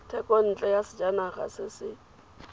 thekontle ya sejanaga se se